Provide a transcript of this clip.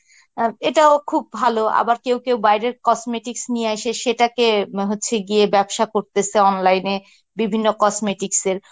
অ এটাও খুব ভালো, আবার কেউ কেউ বাইরের cosmetics নিয়ে আইসে সেটাকে উ হচ্ছে গিয়ে ব্যবসা করতেসে online এ বিভিন্ন cosmetics এর